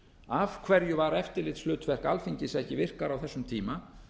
af hverju var eftirlitshlutverk alþingis ekki virkara á þessum tíma